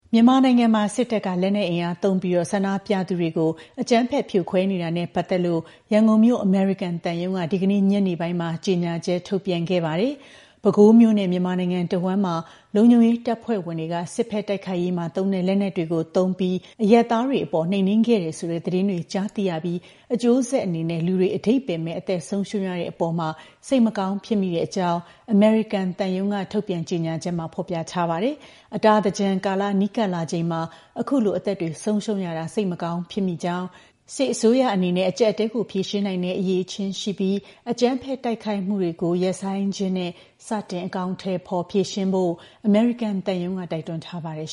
မြန်မာနိုင်ငံမှာ စစ်တပ်က လက်နက်အင်အားသုံးပြီး ဆန္ဒပြသူတွေကို အကြမ်းဖက် ဖြိုခွဲနေတာနဲ့ ပတ်သက်လို့ ရန်ကုန်မြို့ အမေရိကန်သံရုံးက ဒီကနေ့ ညနေပိုင်းမှာ ကြေညာချက် ထုတ်ပြန်ခဲ့တာမှာ - ပဲခူးမြို့နဲ့ မြန်မာနိုင်ငံတဝန်းမှာ လုံခြုံရေးတပ်ဖွဲ့ဝင်တွေက စစ်ဘက်တိုက်ခိုက်ရေးမှာသုံးတဲ့ လက်နက်တွေကို သုံးပြီး အရပ်သားတွေအပေါ် နှိမ်နင်းခဲ့တယ်ဆိုတဲ့ သတင်းတွေ ကြားသိရပြီး အကျိုးဆက်အနေနဲ့ လူတွေ အဓိပ္ပါယ်မဲ့ အသက်ဆုံးရှုံးရတဲ့အပေါ် စိတ်မကောင်းဖြစ်မိတဲ့အကြောင်း အမေရိကန်သံရုံးက ထုတ်ပြန်ကြေညာချက်မှာ ဖော်ပြပါတယ်။ အတာသင်္ကြန်ကာလ နီးကပ်လာချိန်မှာ အခုလို အသက်တွေ ဆုံးရှုံးရတာ စိတ်မကောင်းဖြစ်မိကြောင်း၊ စစ်အစိုးရအနေနဲ့ အကျပ်အတည်းကို ဖြေရှင်းနိုင်တဲ့ အရည်အချင်းရှိပြီး အကြမ်းဖက် တိုက်ခိုက်မှုတွေကို ရပ်ဆိုင်းခြင်းနဲ့ စတင် အကောင်အထည်ဖော်ဖို့ အမေရိကန်သံရုံးက တိုက်တွန်းထားပါတယ်